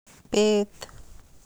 Bet.